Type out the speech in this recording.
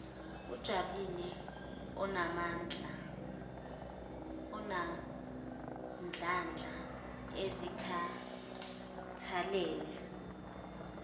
ajabulile anomdlandla azikhathalele